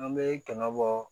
An bɛ kana bɔ